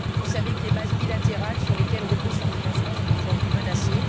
Vous savez que les bases bilatérales sur lesquelles repose son financement sont aujourd'hui menacées.